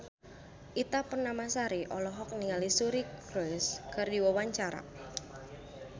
Ita Purnamasari olohok ningali Suri Cruise keur diwawancara